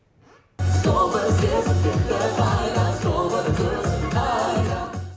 сол бір сезім кетті қайда сол бір көзің қайда